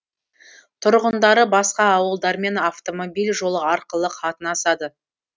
тұрғындары басқа ауылдармен автомобиль жолы арқылы қатынасады